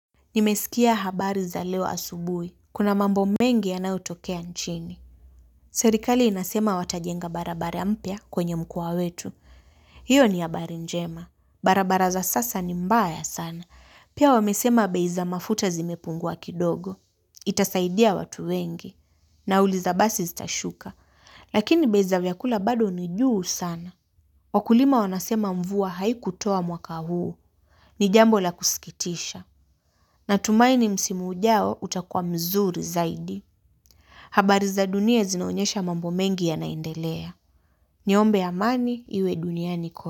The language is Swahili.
Nimesikia habari za leo asubui. Kuna mambo mengi yanayotokea nchini. Serikali inasema watajenga barabara mpya kwenye mkoa wetu. Hiyo ni habari njema. Barabara za sasa ni mbaya sana. Pia wamesema bei za mafuta zimepungua kidogo. Itasaidia watu wengi. Nauli za basi zitashuka. Lakini bei za vyakula bado nijuu sana. Wakulima wanasema mvua haikutoa mwaka huu. Ni jambo la kusikitisha. Natumaini msimu ujao utakua mzuri zaidi. Habari za dunia zinaonyesha mambo mengi yanaendelea. Niombe amani iwe duniani.